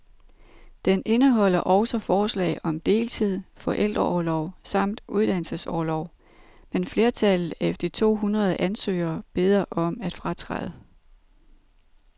Den indeholder også forslag om deltid, forældreorlov samt uddannelsesorlov, men flertallet af de to hundrede ansøgere beder om at fratræde.